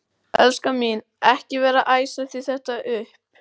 Elskan mín. ekki vera að æsa þig þetta upp!